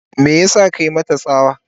me yasa ka mata tsawa?